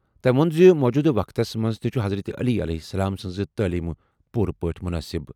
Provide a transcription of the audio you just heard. تٔمۍ ووٚن زِ موٗجوٗدٕ وقتس منٛز تہِ چھِ حضرت علی سٕنٛز تعلیم پوٗرٕ پٲٹھۍ مناسب۔